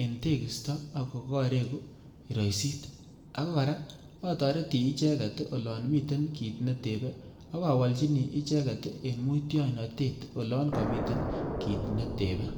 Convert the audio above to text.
eng' tekisto ako kareku kiroisit ako kora atoreti icheget olon miten kit netebei akawolchini icheget eng' mutyoinotet olon kamiten kit netebei.